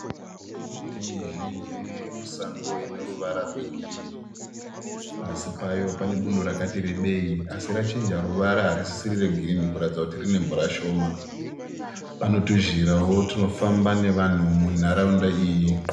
Miti mizhinji iri musango ine ruvara rwegirini. Pasi payo pane bundo rakati rebei asi rachinja ruvara harisisiri regirini kuratidza kuti rine mvura shoma. Pane tuzhirawo tunofamba nevanhu munharaunda iyi.